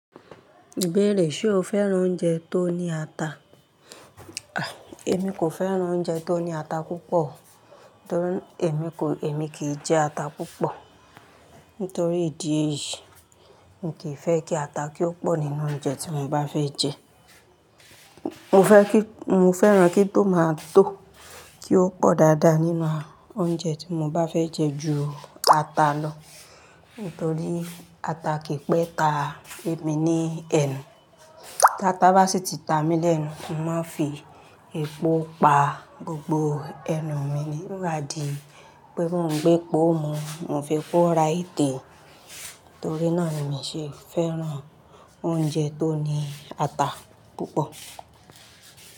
Ìbéèrè, ṣe o fẹ́ràn oúnjẹ tó ní ata? Èmi kò fẹ́ràn oúnjẹ tó ní ata púpọ̀, torí èmi kò, èmi kìí jẹ ata púpọ̀. Nítorí ìdí èyí, mì kìí fẹ́ kí ata kí ó pọ̀ nínú oúnjẹ tí mo bá fẹ́ jẹ. Mo fẹ́ kí, mo fẹ́ràn kí tòmátó, kí ó pọ̀ dáadáa nínú oúnjẹ tí mo bá fẹ́ jẹ ju ata lọ. Nítorí ata kìí pẹ́ ta èmi ní ẹnu. Táta bá sì ti ta mí lẹ́nu, mo máa ń fi epo pa gbogbo ẹnu mi ni. Ko máa di pé mó ń gbé epo mú, mo ń fi epo ra ẹ̀tẹ̀. Nítorí náà ni mi ń ṣe fẹ́ràn oúnjẹ tó ní ata púpọ̀.